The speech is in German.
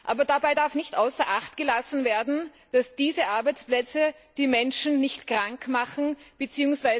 Aber dabei darf nicht außer Acht gelassen werden, dass diese Arbeitsplätze die Menschen nicht krank machen bzw.